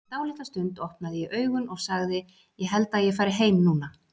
Eftir dálitla stund opnaði ég augun og sagði: Ég held að ég fari heim núna.